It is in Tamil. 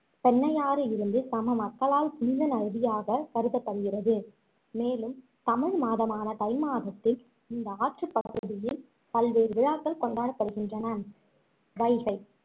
பெண்ணையாறு சம மக்களால் புனித நதியாக கருதப்படுகிறது மேலும் தமிழ் மாதமான தை மாதத்தில் இந்த ஆற்று பகுதியில் பல்வேறு விழாக்கள் கொண்டாடப்படுகின்றன வைகை